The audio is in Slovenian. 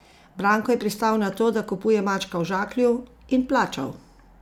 Branko je pristal na to, da kupuje mačka v žaklju, in plačal.